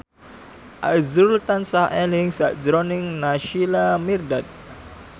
azrul tansah eling sakjroning Naysila Mirdad